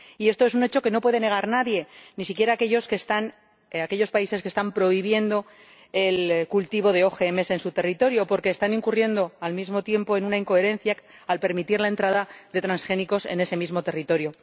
Y esto es un hecho que no puede negar nadie, ni siquiera aquellos países que están prohibiendo el cultivo de OMG en su territorio, porque están incurriendo, al mismo tiempo, en una incoherencia al permitir la entrada de transgénicos en ese mismo territorio.